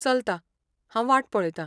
चलता. हांव वाट पळयतां.